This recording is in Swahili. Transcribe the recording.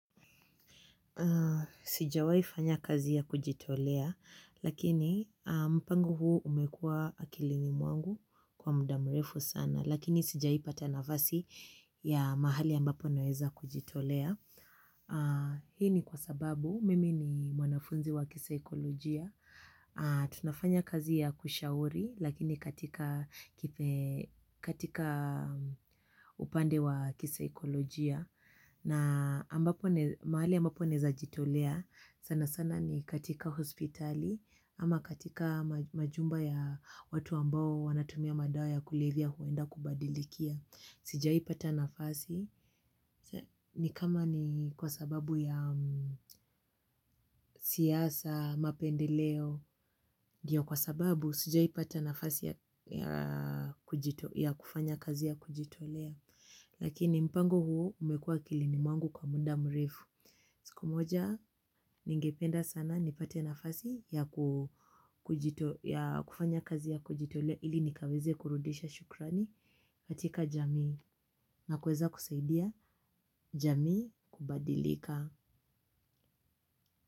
Sijawahi fanya kazi ya kujitolea, lakini mpango huu umekua akilini mwangu kwa mdavmrefu sana, lakini sijaipata nafasi ya mahali ambapo naweza kujitolea. Hii ni kwa sababu mimi ni mwanafunzi wa kisakolojia. Tunafanya kazi ya kushauri lakini katika upande wa kisakolojia. Na mahali ambapo naeza jitolea sana sana ni katika hospitali ama katika majumba ya watu ambao wanatumia madawa ya kulevya huenda kubadilikia. Sijai pata nafasi, ni kama ni kwa sababu ya siasa, mapendeleo, ndiyo kwa sababu, sijai pata nafasi ya kufanya kazi ya kujitolea, lakini mpango huo umekua akilini mwangu kwa muda mrefu. Siku moja ningependa sana nipate nafasi ya kufanya kazi ya kujitolea ili nikaweze kurudisha shukrani katika jamii na kueza kusaidia jamii kubadilika.